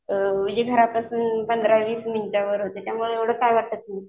म्हणजे घरापासून पंधरा वीस मिनिट अंतरावर होतं त्यामुळं एवढं काय वाटत नाही.